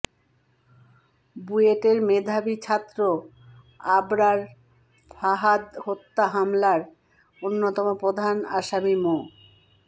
বুয়েটের মেধাবী ছাত্র আবরার ফাহাদ হত্যা মামলার অন্যতম প্রধান আসামি মো